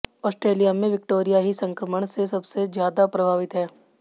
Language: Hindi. ऑस्ट्रेलिया में विक्टोरिया ही संक्रमण से सबसे ज्यादा प्रभावित है